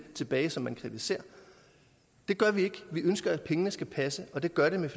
tilbage som man kritiserer det gør vi ikke vi ønsker at pengene skal passe og det gør de med